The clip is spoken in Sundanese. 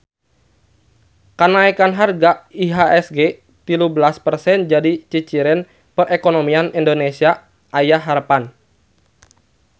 Kanaekan harga IHSG tilu belas persen jadi ciciren perekonomian Indonesia aya harepan